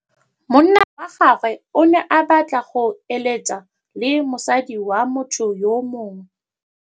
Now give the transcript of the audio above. Monna wa gagwe o ne a batla go êlêtsa le mosadi wa motho yo mongwe.